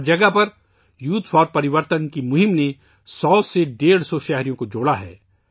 ہر مقام پر youth for Parivartan کی مہم نے 100 سے 150 شہروں کو جوڑا ہے